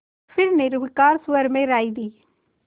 फिर निर्विकार स्वर में राय दी